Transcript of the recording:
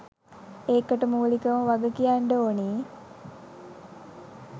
ඒකට මූලිකව වගකියන්ඩ ඕනෙ